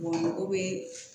mago bɛ